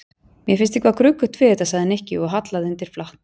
Mér finnst eitthvað gruggugt við þetta sagði Nikki og hallaði undir flatt.